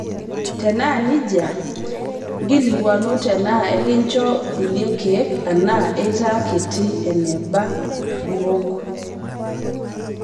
Tenaa nejia, nkilikuanu tenaa enkincho kulie keek ana eitaa kiti eneba liwok.